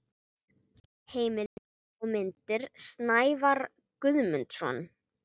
Heimildir og myndir: Snævarr Guðmundsson.